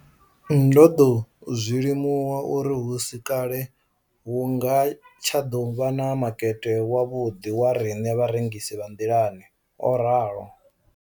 Ndo ḓo zwi limuwa uri hu si kale a hu nga tsha ḓo vha na makete wavhuḓi wa riṋe vharengisi vha nḓilani, o ralo.